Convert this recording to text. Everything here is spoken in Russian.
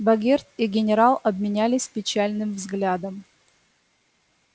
богерт и генерал обменялись печальным взглядом